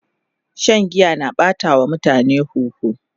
Shan giya na ɓata wa mutum huhu